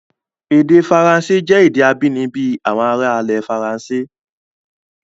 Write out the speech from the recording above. Èdè Faransé jẹ́ èdè abínibí àwọn ará ilẹ̀ Faransé.